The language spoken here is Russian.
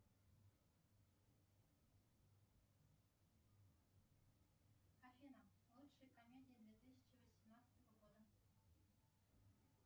афина лучшие комедии две тысячи восемнадцатого года